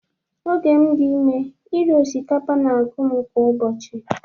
Oge m dị ime, iri osikapa na-agụ m kwa ụbọchị